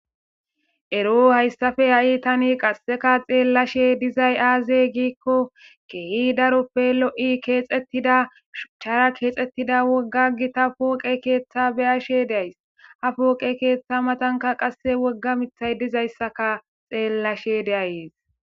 Ero hayssafe ha'i tani qasseka xeellashe dizay aazey giikko keehi daroppe lo'i keexxettida chara keexettida wogga gita pooqe keeththa beyashe days ha pooqe keeththa matanka qasse wogga mithay dizayssaka xeellashe deayees,